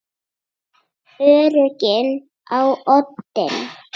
Öryggið á oddinn!